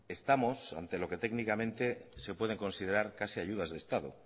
estamos ante lo que técnicamente se puede considerar casi ayudas de estado